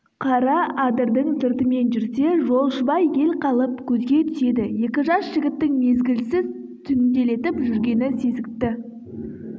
қара адырдың сыртымен жүрсе жолшыбай ел қалып көзге түседі екі жас жігіттің мезгілсіз түнделетіп жүргені сезікті